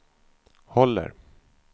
håller